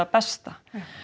bestu